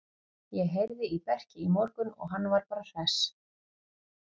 Ég heyrði í Berki í morgun og hann var bara hress.